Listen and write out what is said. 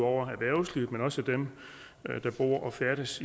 over erhvervslivet men også dem der bor og færdes